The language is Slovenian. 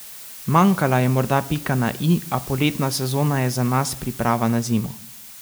Manjkala je morda pika na i, a poletna sezona je za nas priprava na zimo.